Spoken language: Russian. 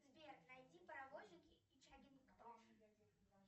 сбер найди паровозики и чаггингтон